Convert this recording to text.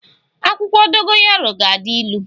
Akwụkwọ dogoyaro ga-adi ịlụ